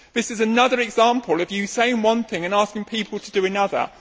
This is another example of you saying one thing and asking people to do another.